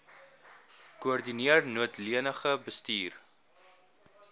koördineer noodleniging bestuur